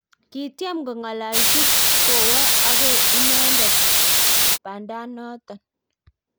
Kityem kongalalji kowa ago inendet bandanoto